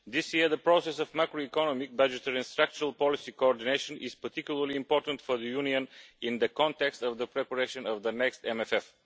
This year, the process of macroeconomic budgetary and structural policy coordination is particularly important for the Union in the context of the preparation of the next MFF.